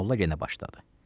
Molla yenə başladı.